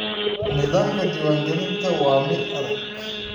Nidaamka diiwaangelinta waa mid adag.